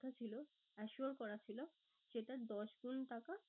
ছিল assure করা ছিল সেটার দশ গুন টাকা